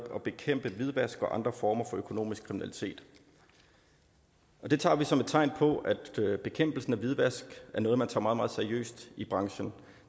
at bekæmpe hvidvask og andre former for økonomisk kriminalitet og det tager vi som et tegn på at bekæmpelsen af hvidvask er noget man tager meget meget seriøst i branchen